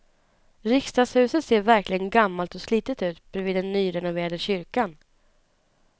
Riksdagshuset ser verkligen gammalt och slitet ut bredvid den nyrenoverade kyrkan.